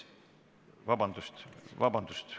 Vabandust!